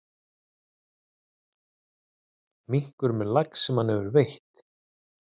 Minkur með lax sem hann hefur veitt.